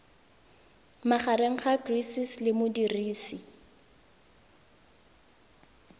magareng ga gcis le modirisi